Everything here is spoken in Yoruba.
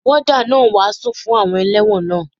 Wọ́dà náà ń wàásù fún àwọn elẹ́wọ̀n náà.